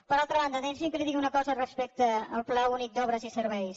per altra banda deixi’m que li digui una cosa respecte al pla únic d’obres i serveis